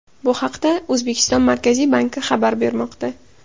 Bu haqda O‘zbekiston Markaziy banki xabar bermoqda .